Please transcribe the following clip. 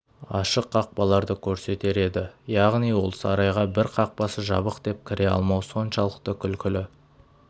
ашық қақпаларды көрсетер еді яғни ол сарайға бір қақпасы жабық деп кіре алмау соншалықты күлкілі